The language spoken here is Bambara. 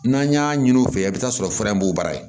N'an y'a ɲini u fɛ i bi taa sɔrɔ fɛrɛ b'u bara